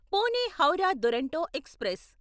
Pune Howrah Duronto express